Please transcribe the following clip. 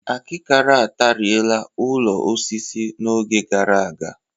Akịkara ataarịe la ụlọ osisi n'oge gara aga